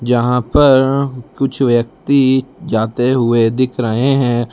यहां पर कुछ व्यक्ति जाते हुए दिख रहे हैं।